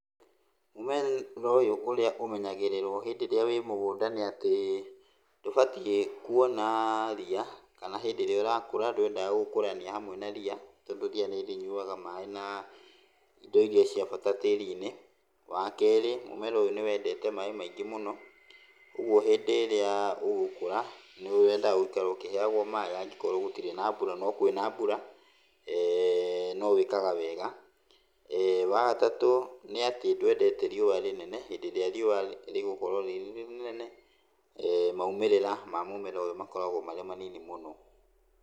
Mũmera ũyũ ũrĩa ũmenyagĩrĩrwo hĩndĩ ĩrĩa wĩ mũngũnda nĩ atĩ, ndũbatiĩ kuona ria, kana hĩndĩ ĩrĩa ũrakũra ndwendaga gũkũrania hamwe na ria, tondũ ria nĩ rĩnyuaga maĩ na indo iria cia bata tĩri-inĩ. Wa kerĩ, mũmera ũyũ nĩ wendete maĩ maingĩ mũno, ũguo hĩndĩ ĩrĩa ũgũkũra, nĩ wendaga gũikara ũkĩheagwo maĩ angĩkorwo gũtirĩ na mbura, no kwĩna mbura, no wĩkaga wega. Wa gatatũ nĩ atĩ ndwendete riũa rĩnene, hĩndĩ ĩrĩa riũa rĩgũkorwo rĩrĩnene maũmĩrĩra ma mũmera ũyũ makoragwo marĩ manini mũno.